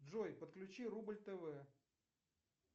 джой подключи рубль тв